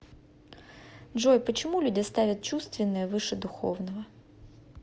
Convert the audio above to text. джой почему люди ставят чувственное выше духовного